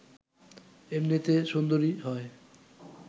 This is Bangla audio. এমনিতে সুন্দরই হয়